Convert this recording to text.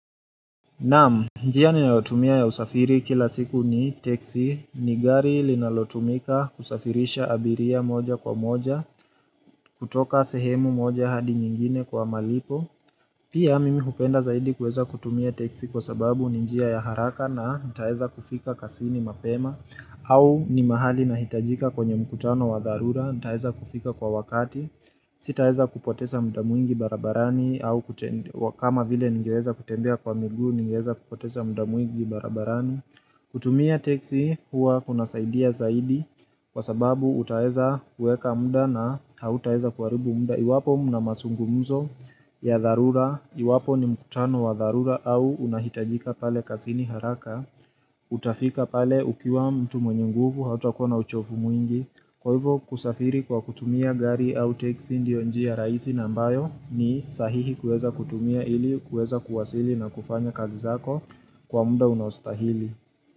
Naam, njia ninaotumia ya usafiri kila siku ni teksi, ni gari linalotumika kusafirisha abiria moja kwa moja, kutoka sehemu moja hadi nyingine kwa malipo, pia mimi hupenda zaidi kuweza kutumia teksi kwa sababu njia ya haraka na nitaeza kufika kazini mapema, au ni mahali na hitajika kwenye mkutano wa dharura, nitaeza kufika kwa wakati, sitaeza kupoteza muda mwingi barabarani au kama vile nigeweza kutendea kwa migu, nigeweza kupoteza muda mwingi barabarani kutumia teksi huwa kunazaidia zaidi kwa sababu utaeza uweka muda na hautaeza kuaribu muda iwapo mnamasungumzo ya dharura, iwapo ni mkutano wa dharura au unahitajika pale kazini haraka Utafika pale ukiwa mtu mwenye nguvu hautakuwa na uchofu mwingi kwa hivyo kusafiri kwa kutumia gari au teksi ndio njiya raisi na mbayo ni sahihi kueza kutumia ili kueza kuwasili na kufanya kazi zako kwa muda unaostahili.